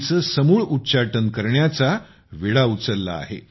चे समूळ उच्चाटन करण्याचा विडा उचलला आहे